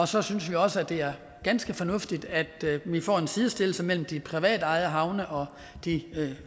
så synes vi også det er ganske fornuftigt at vi får en sidestilling mellem de privatejede havne og de